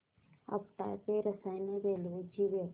आपटा ते रसायनी रेल्वे ची वेळ